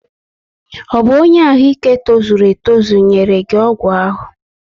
Ọ bụ ọnye arụ ike tozuru etozu nyere gị ọgwụ ahụ?